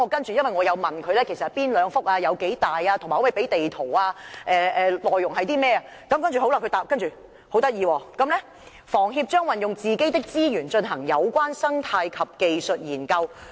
至於我問到是哪兩幅土地、面積有多大，以及可否提供地圖等，當局的答覆便十分有趣："房協將運用自己的資源進行有關生態及技術研究。